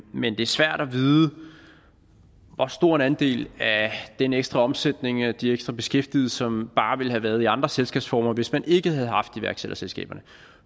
men det er svært at vide hvor stor en andel af den ekstra omsætning af de ekstra beskæftigede som bare ville have været i andre selskabsformer hvis man ikke havde haft iværksætterselskaberne